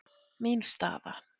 Mín staða?